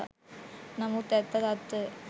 නමුත් ඇත්ත තත්ත්වය